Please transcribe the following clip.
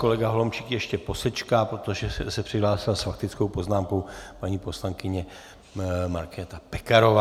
Kolega Holomčík ještě posečká, protože se přihlásila s faktickou poznámkou paní poslankyně Markéta Pekarová.